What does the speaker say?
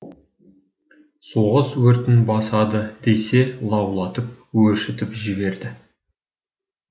соғыс өртін басады десе лаулатып өршітіп жіберді